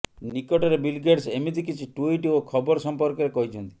ନିକଟରେ Bill Gates ଏମିତି କିଛି ଟୁଇଟ ଓ ଖବର ସମ୍ପର୍କରେ କହିଛନ୍ତି